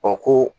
Ɔ ko